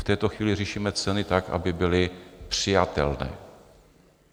V této chvíli řešíme ceny tak, aby byly přijatelné.